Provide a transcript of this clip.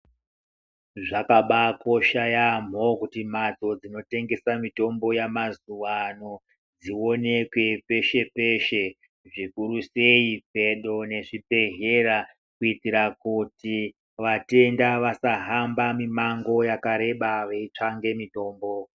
Zvakabaakosha yaamho kuti mhatso dzinotengesa mitombo yamazuwa ano dzioneke peshe peshe zvikurusei pedo nezvibhedhlera kuitira kuti vatenda vasahamba mimango yakareba veiitsvake mitombo.